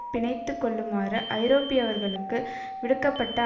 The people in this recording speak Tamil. பிணைத்துக் கொள்ளுமாறு ஐரோப்பியர்களுக்கு விடுக்க பட்ட